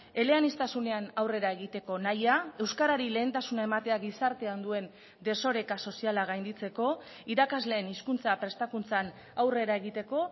eleaniztasunean aurrera egiteko nahia euskarari lehentasuna ematea gizartean duen desoreka soziala gainditzeko irakasleen hizkuntza prestakuntzan aurrera egiteko